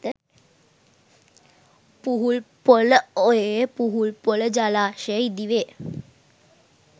පුහුල්පොළ ඔයේ පුහුල්පොළ ජලාශය ඉදි වේ